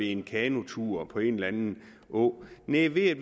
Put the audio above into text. en kanotur på en eller anden å men ved at